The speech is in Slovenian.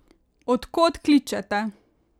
Od kod kličete?